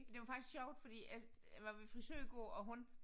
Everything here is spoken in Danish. Det var faktisk sjovt fordi at jeg var ved frisør i går og hun